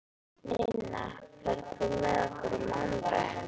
Ninna, ferð þú með okkur á mánudaginn?